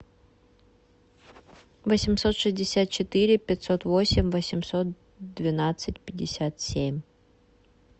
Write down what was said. восемьсот шестьдесят четыре пятьсот восемь восемьсот двенадцать пятьдесят семь